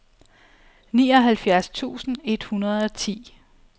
nioghalvfjerds tusind et hundrede og ti